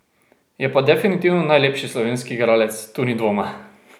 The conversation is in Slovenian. Je pa definitivno najlepši slovenski igralec, tu ni dvoma.